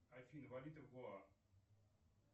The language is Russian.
афина валюта в гоа